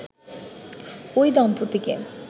ওই দম্পতিকে